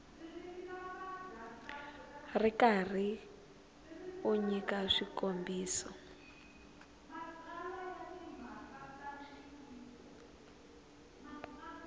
ri karhi u nyika swikombiso